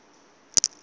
tshakhuma